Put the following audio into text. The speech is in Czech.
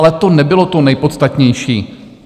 Ale to nebylo to nejpodstatnější.